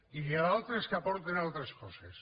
i n’hi ha d’altres que aporten altres coses